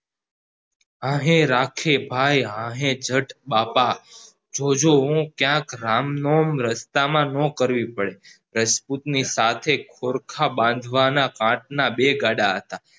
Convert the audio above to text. આહે રાખે ભય આહે જત બાપા જોજો હો ક્યાંક રામનોમ રસ્તા માં નો કરવી પડે રાજપૂત ની સાથે પોરખા બાંધવાના કાંઠના બે ગાળા હતા